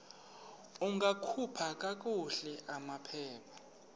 ungakhupha kakuhle amaphepha